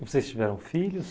Vocês tiveram filhos?